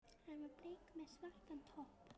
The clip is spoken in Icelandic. Hann var bleikur með svartan topp.